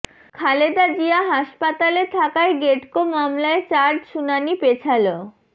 খালেদা জিয়া হাসপাতালে থাকায় গ্যাটকো মামলায় চার্জ শুনানি পেছাল